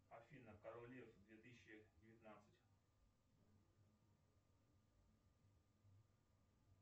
афина король лев две тысячи девятнадцать